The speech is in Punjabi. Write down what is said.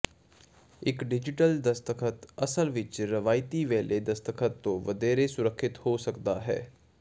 ਇੱਕ ਡਿਜੀਟਲ ਦਸਤਖਤ ਅਸਲ ਵਿੱਚ ਰਵਾਇਤੀ ਵੈਲੇ ਦਸਤਖਤ ਤੋਂ ਵਧੇਰੇ ਸੁਰੱਖਿਅਤ ਹੋ ਸਕਦਾ ਹੈ